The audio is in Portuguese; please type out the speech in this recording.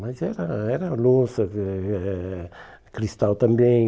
Mas era era louça, eh eh cristal também.